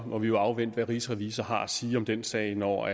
må vi afvente hvad rigsrevisor har at sige om den sag når